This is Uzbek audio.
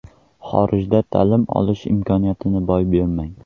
Xorijda ta’lim olish imkoniyatini boy bermang!.